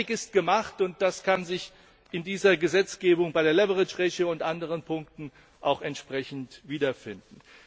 Aber der Einstieg ist gemacht, und das kann sich in dieser Gesetzgebung, bei der leverage ratio und bei anderen Punkten auch entsprechend wiederfinden.